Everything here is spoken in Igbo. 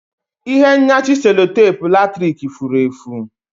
Ihe nyachi sellotape latrik furu efu